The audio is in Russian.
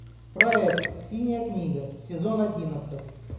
проект синяя книга сезон одиннадцать